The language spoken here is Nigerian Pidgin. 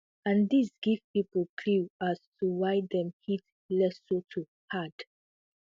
and dis give pipo clue as to why dem hit lesotho hard